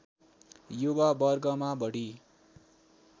युवा वर्गमा बढी